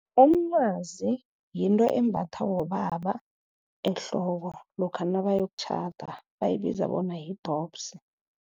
Umncwazi yinto embathwa bobaba ehloko, lokha nabayokutjhada bayibiza bona yi-dobbs.